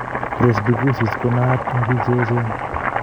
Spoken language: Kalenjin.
Presbycusis koo nnaaata end biik cheechen